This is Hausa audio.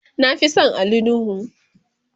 na Fi San Ali nuhu